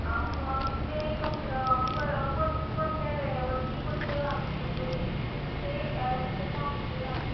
आ म ते कोण कोणत्या वेळेवरती कोणते वाहन उपलब्ध होईल हे तिथे सांगितले जाते.